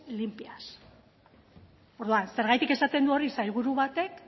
limpias orduan zergatik esaten du hori sailburu batek